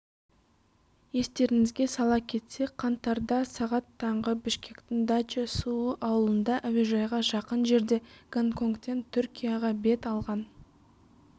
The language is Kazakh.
естеріңізге сала кетсек қаңтарда сағат таңғы бішкектің дача-суу ауылында әуежайға жақын жерде гонконгтен түркияға бет алған